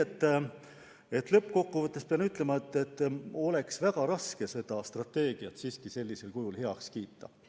Nii et lõppkokkuvõtteks pean ütlema, et on väga raske seda strateegiat sellisel kujul heaks kiita.